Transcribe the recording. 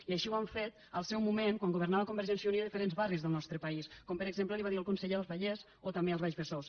i així ho hem fet al seu moment quan governava convergència i unió a diferents barris del nostre pa·ís com per exemple li va dir el conseller al vallès o també al baix besòs